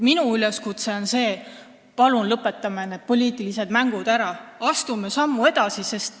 Minu üleskutse on see: palun lõpetame need poliitilised mängud ära ja astume sammu edasi!